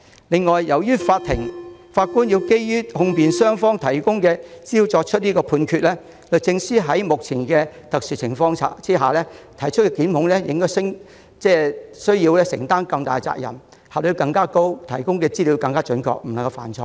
此外，由於法官要基於控辯雙方提供的資料作出判決，律政司在目前的特殊情況下提出檢控時，要承擔更大責任，發揮更高效率，提供的資料必須準確，不能犯錯。